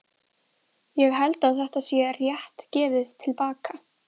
Ég held að þetta sé rétt gefið til baka.